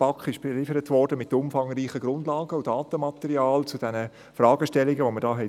Die BaK wurde mit umfangreichen Grundlagen und Datenmaterialien zu diesen Fragestellungen beliefert.